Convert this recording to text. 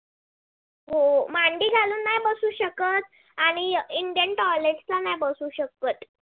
हो मांडी घालून नाय बसू शकत आणि indian toilet ला पंन नाही बसू शकत